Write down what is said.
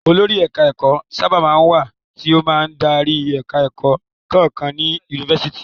Olórí ẹ̀ka-ẹ̀kọ́ sábà máa ń wà tí ó máa darí ẹ̀ka-ẹ̀kọ́ kọ́ọ̀kan ní yunifásitì.